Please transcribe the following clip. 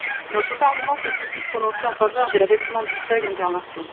Notre Parlement s'est aussi prononcé en faveur de l'abaissement du seuil d'intervention.